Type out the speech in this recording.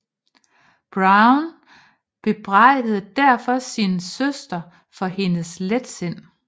Browne bebrejdede derfor sin søster for hendes letsind